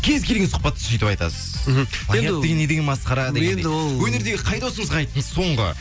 кез келген сұхбатта сөйтіп айтасыз мхм плагиат деген не деген масқара дегендей өнердегі қай досыңызға айттыңыз соңғы